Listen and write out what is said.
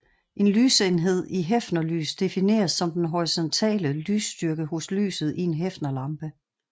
En lysenhed i hefnerlys defineres som den horisontale lysstyrke hos lyset i en hefnerlampe